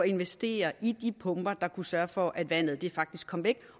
investere i de pumper der kan sørge for at vandet faktisk kommer væk